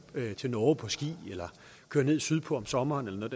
til norge på ski eller køre ned sydpå om sommeren eller noget